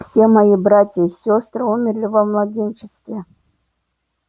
все мои братья и сёстры умерли во младенчестве